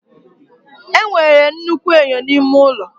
Enwere nnukwu enyo n'ime ime ụlọ